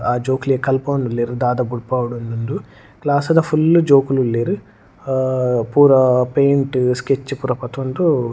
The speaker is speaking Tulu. ಆ ಜೋಕ್ಲೆಗ್ ಕಲ್ಪವೊಂದುಲ್ಲೆರ್ ದಾದ ಬುಡ್ಪವೊಡ್ ಇಂದ್ ದು ಕ್ಲಾಸ್ ದ ಫುಲ್ಲ್ ಜೋಕುಲುಲ್ಲೆರ್ ಅಹ್ ಪೂರ ಪೈಂಟ್ ಸ್ಕೆಚ್ ಪೂರ ಪತೊಂದು.